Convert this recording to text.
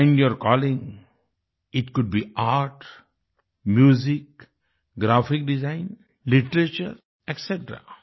find your calling it could be art music graphic design literature etc